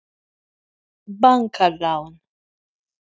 Óverðtryggð lán til langs tíma eru jafnan með breytilega vexti.